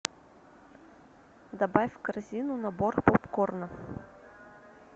добавь в корзину набор попкорна